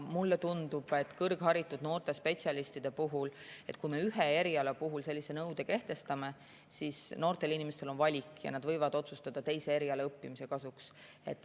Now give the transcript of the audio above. Mulle tundub, mõeldes kõrgharitud noortele spetsialistidele, et kui me ühel erialal sellise nõude kehtestame, siis noored inimesed – neil on ju võimalus valida – võivad otsustada teisel erialal õppimise kasuks.